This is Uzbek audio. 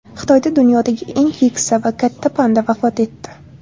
Xitoyda dunyodagi eng keksa va katta panda vafot etdi.